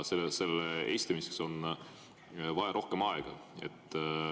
Selle esitamiseks on vaja rohkem aega.